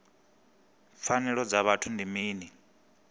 pfanelo dza vhuthu ndi mini